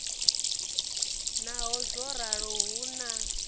naho zwo ralo hu na